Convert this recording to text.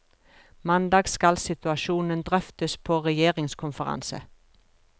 Mandag skal situasjonen drøftes på regjeringskonferanse.